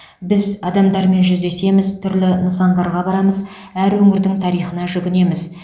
біз адамдармен жүздесеміз түрлі нысандарға барамыз әр өңірдің тарихына жүгінеміз